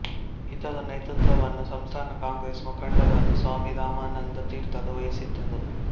ಇದರ ನೇತೃತ್ವವನ್ನು ಸಂಸ್ಥಾನ ಕಾಂಗ್ರೆಸ್ ಮುಖಂಡರಾದ ಸ್ವಾಮಿ ರಾಮಾನಂದ ತೀರ್ಥರು ವಹಿಸಿದ್ದರು